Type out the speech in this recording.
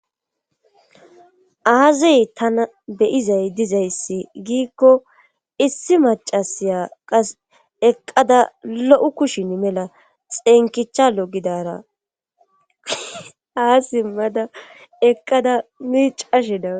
aazey tana beyizay dizayssi giikko issi macasiya qas eqqada lo7u kushin mela xeenkichalo gidara aasi mada eqqada miicashedara